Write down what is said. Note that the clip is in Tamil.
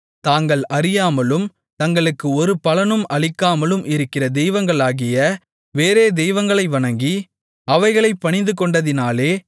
தாங்கள் அறியாமலும் தங்களுக்கு ஒரு பலனும் அளிக்காமலும் இருக்கிற தெய்வங்களாகிய வேறே தெய்வங்களை வணங்கி அவைகளைப் பணிந்துகொண்டதினாலே